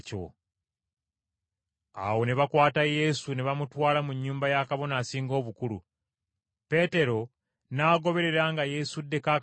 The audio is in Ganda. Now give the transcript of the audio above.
Awo ne bakwata Yesu ne bamutwala mu nnyumba ya Kabona Asinga Obukulu. Peetero n’agoberera nga yeesuddeko akabanga.